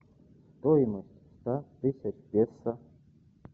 стоимость ста тысяч песо